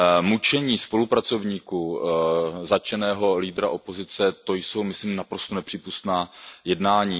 Mučení spolupracovníků zatčeného lídra opozice, to jsou myslím naprosto nepřípustná jednání.